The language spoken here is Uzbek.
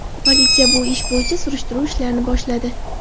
Politsiya bu ish bo‘yicha surishtiruv ishlarini boshladi.